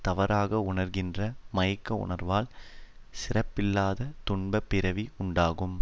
தவறாக உணர்கின்ற மயக்க உணர்வால் சிறப்பில்லாத துன்பப் பிறவி உண்டாகும்